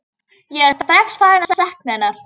Ég er strax farinn að sakna hennar.